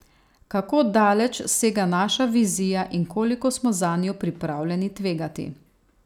Kako daleč sega naša vizija in koliko smo zanjo pripravljeni tvegati.